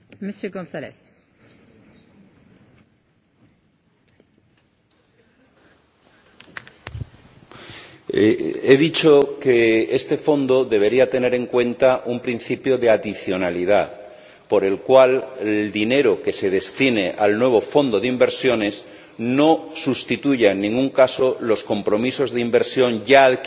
He dicho que este fondo debería tener en cuenta un principio de adicionalidad, por el cual el dinero que se destine al nuevo fondo de inversiones no sustituya en ningún caso los compromisos de inversión ya adquiridos por el Banco Europeo de Inversiones y que dan lugar a proyectos que están en marcha, que están creando empleo y que están ayudando a muchas regiones de Europa.